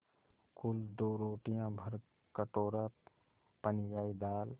कुल दो रोटियाँ भरकटोरा पनियाई दाल